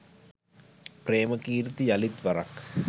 ප්‍රේමකීර්ති යළිත් වරක්